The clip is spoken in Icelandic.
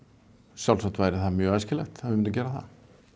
sjálfsagt væri það mjög æskilegt að við myndum gera það